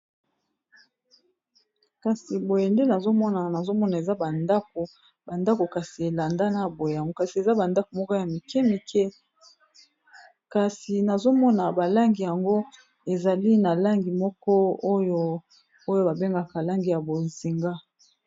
kasi boye nde nazomonaa nazomona eza bandako bandako kasi elanda na boyango kasi eza bandako moko ya mike mike kasi nazomona balangi yango ezali na langi moko oyo oyo babengaka langi ya bozinga